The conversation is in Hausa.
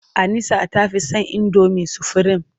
Anisa ta fi son indomi sufurim.